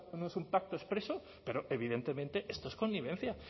no es un pacto expreso pero evidentemente esto es connivencia